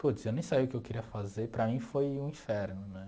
Puts, eu nem sabia o que eu queria fazer, para mim foi um inferno, né?